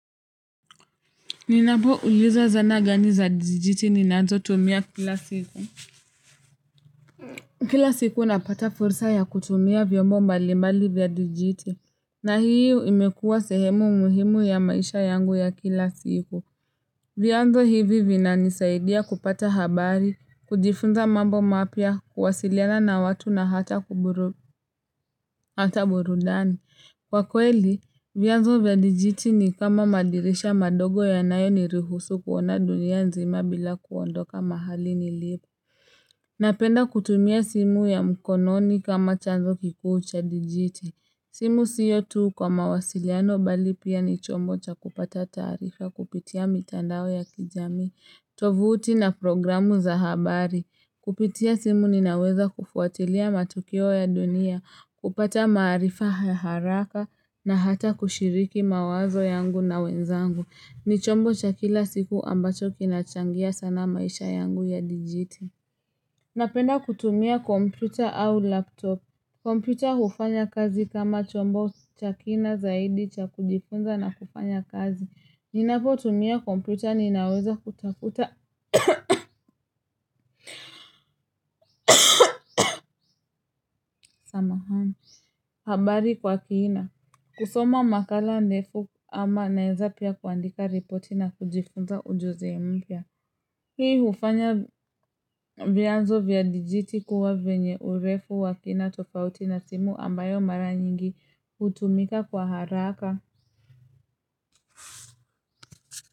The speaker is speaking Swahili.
Ninapouliza zana gani za dijiti ninazotumia kila siku. Kila siku napata fursa ya kutumia vyombo mbali mbali vya dijiti. Na hiyo imekuwa sehemu muhimu ya maisha yangu ya kila siku. Vyanzo hivi vinanisaidia kupata habari, kujifunza mambo mapya, kuwasiliana na watu na hata burudani. Kwa kweli, vyanzo vya dijiti ni kama madirisha madogo yanayonirihusu kuona dunia nzima bila kuondoka mahali nilipo. Napenda kutumia simu ya mkononi kama chanzo kikuu cha dijiti. Simu sio tu kwa mawasiliano bali pia ni chombo cha kupata taarifa kupitia mitandao ya kijamii, tovuti na programu za habari. Kupitia simu ninaweza kufuatilia matukio ya dunia, kupata maarifa haraka na hata kushiriki mawazo yangu na wenzangu. Ni chombo cha kila siku ambacho kinachangia sana maisha yangu ya dijiti. Napenda kutumia kompyuta au laptop. Kompyuta hufanya kazi kama chombo cha kina zaidi cha kujifunza na kufanya kazi. Ninapotumia kompyuta ninaweza kutafuta habari kwa kiina kusoma makala ndefu ama naweza pia kuandika ripoti na kujifunza ujuzi mpya hii hufanya vyanzo vya dijiti kuwa venye urefu wa kina tofauti na simu ambayo mara nyingi hutumika kwa haraka.